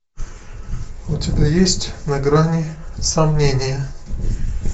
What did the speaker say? у тебя есть на грани сомнения